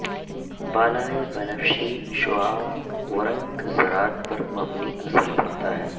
بالائے بنفشی شعاعوں ورنک ذرات پر منفی اثر پڑتا ہے